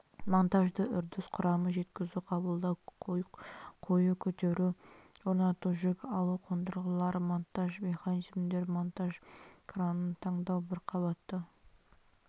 монтажды үрдіс құрамы жеткізу қабылдау қою көтеру орнату жүк алу қондырғылары монтаж механизмдері монтаж кранын таңдау бір қабатты